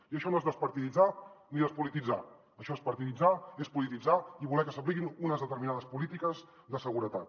i això no és despartiditzar ni despolititzar això és partiditzar i és polititzar i voler que s’apliquin unes determinades polítiques de seguretat